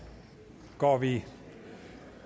går vi